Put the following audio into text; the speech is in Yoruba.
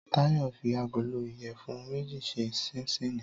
Táyọ̀ fi agolo ìyẹ̀fun méjì ṣe ṣinṣíìnì